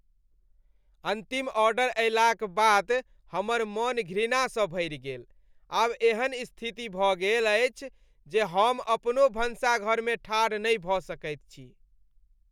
अन्तिम ऑर्डर अयलाक बाद हमर मन घृणासँ भरि गेल। आब एहन स्थिति भऽ गेल अछि जे हम अपनो भनसाघरमे ठाढ़ नहि भऽ सकैत छी।